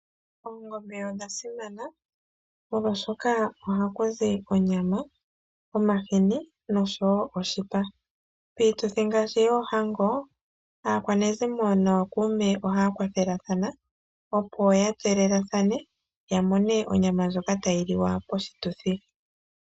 Oongombe odha simana, molwaashoka ohakuzi onyama, omahini nosho wo oshipa. Piituthi ngaashi yoohango, aakwanezimo nookuume ohaya kwathelathana opo ya tselelathane, ya mone onyama ndjoka tayi liwa poshituthi.